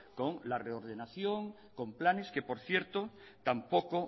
con la reordenación con planes que por cierto tampoco